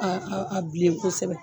Aa a bilen kosɛbɛ